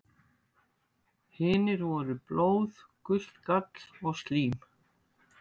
Hinir voru blóð, gult gall og slím.